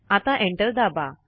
आता एंटर दाबा